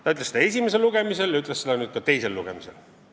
Ta ütles seda esimesel lugemisel ja ütles seda ka nüüd teisel lugemisel.